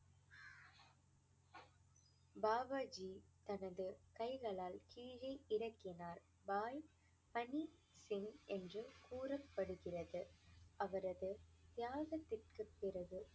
பாபாஜி தனது கைகளால் கீழே இறக்கினார் பாய் பணி சிங் என்று கூறப்படுகிறது அவரது தியாகத்திற்கு பிறகு